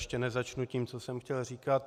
Ještě nezačnu tím, co jsem chtěl říkat.